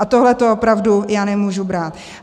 A tohle opravdu já nemůžu brát!